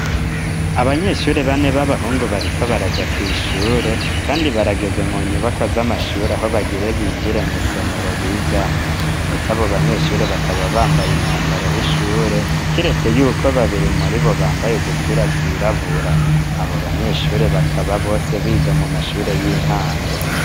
Abanyeshure bane, b'abahungu, bariko baraja kw'ishure, kandi, barageze mu nyubakwa, z'amashure, aho bagire binjire mw'isomero bigamwo; ndetse abo banyeshure, bakaba bambaye, umwambaro w'ishure; kiretse y'uko, babiri muri bo, bambaye udupira twirabura; abo banyeshure, bakaba bose, biga mu mashure, y'intango.